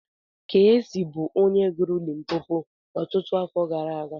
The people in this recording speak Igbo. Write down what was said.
Keesi bụ onye gụrụ 'Limpopo' ọtụtụ afọ gara aga.